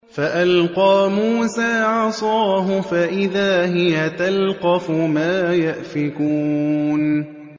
فَأَلْقَىٰ مُوسَىٰ عَصَاهُ فَإِذَا هِيَ تَلْقَفُ مَا يَأْفِكُونَ